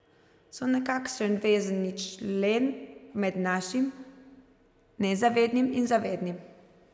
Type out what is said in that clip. So nekakšen vezni člen med našim nezavednim in zavednim.